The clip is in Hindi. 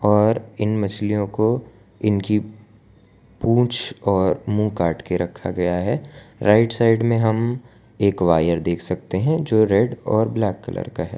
और इन मछलियों को इनकी पूंछ और मुंह काट के रखा गया है राइट साइड में हम एक वायर देख सकते हैं जो रेड और ब्लैक कलर का है।